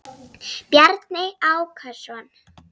Bjarni Ákason.